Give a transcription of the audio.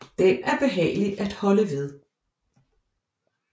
Den er behagelig at holde ved